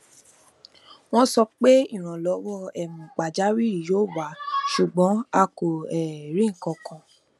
wọn sọ pé ìrànlọwọ um pajawiri yóò wá ṣùgbọn a um kò rí nkankan